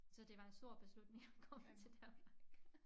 Så det var en stor beslutning at komme til Danmark